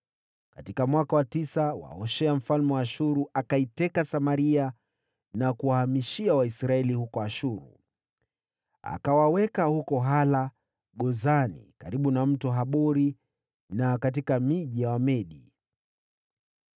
Katika mwaka wa tisa wa Hoshea, mfalme wa Ashuru akaiteka Samaria na kuwahamishia Waisraeli huko Ashuru. Akawaweka huko Hala, na Gozani karibu na Mto Habori, na katika miji ya Wamedi.